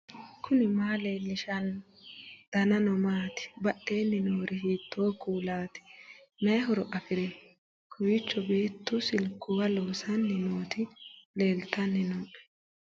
knuni maa leellishanno ? danano maati ? badheenni noori hiitto kuulaati ? mayi horo afirino ? kowiicho beetu silkuwa loosanni nooti leeltanni nooe